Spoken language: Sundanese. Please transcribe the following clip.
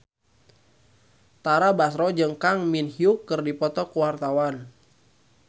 Tara Basro jeung Kang Min Hyuk keur dipoto ku wartawan